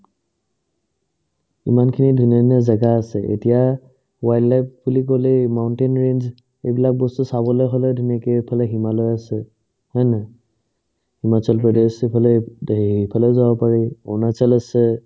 ইমানখিনি ধুনীয়া ধুনীয়া জাগা আছে এতিয়া wild life বুলি ক'লেই mountain range ইবিলাক বস্তু চাবলে হ'লে ধুনীয়াকে এইফালে হিমালয় আছে হয় না নাই হিমাচল প্ৰদেশ ইফালে এইফালে যাব পাৰি অৰুণাচল আছে